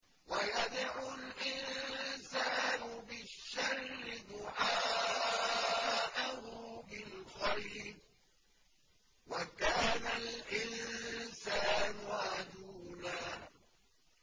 وَيَدْعُ الْإِنسَانُ بِالشَّرِّ دُعَاءَهُ بِالْخَيْرِ ۖ وَكَانَ الْإِنسَانُ عَجُولًا